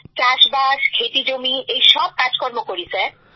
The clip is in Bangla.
চাষবাস ক্ষেতি জমি এই সব কাজকর্ম করি স্যার